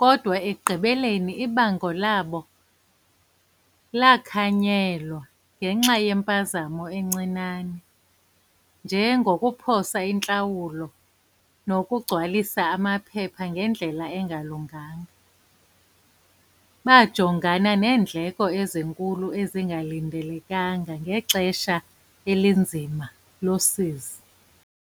kodwa ekugqibeleni ibango labo lakhanyelwa ngenxa yempazamo encinane, nje ngokuphosa intlawulo, nokugcwalisa amaphepha ngendlela engalunganga. Bajongana neendleko ezinkulu ezingalindelekanga ngexesha elinzima losizi.